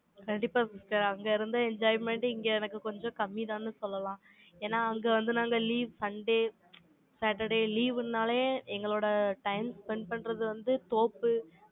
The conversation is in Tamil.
கண்டிப்பா sister அங்க இருந்த enjoyment இங்க எனக்கு கொஞ்சம் கம்மிதான்னு சொல்லலாம். ஏன்னா, அங்க வந்து, நாங்க leave sunday saturday leave ன்னாலே, எங்களோட time spend பண்றது வந்து, தோப்பு,